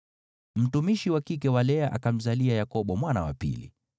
Mtumishi wa kike wa Lea akamzalia Yakobo mwana wa pili.